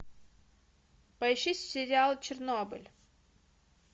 поищи сериал чернобыль